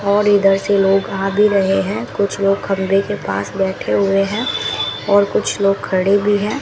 और इधर से लोग आ भी रहे हैं कुछ लोग खंबे के पास बैठे हुए हैं और कुछ लोग खड़े भी हैं।